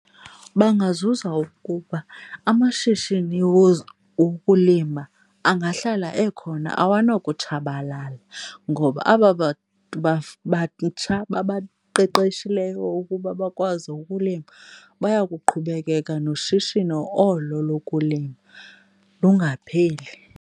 Bangazuza ukuba amashishini wokulima angahlala ekhona, awonokutshabalala, ngoba aba bantu batsha babaqeqeshileyo ukuba bakwazi ukulima baya kuqhubekeka noshishino olo lokulima lungapheli.